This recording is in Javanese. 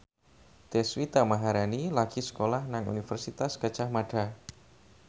Deswita Maharani lagi sekolah nang Universitas Gadjah Mada